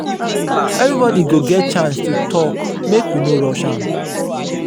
everybody go get chance to talk make we no rush am.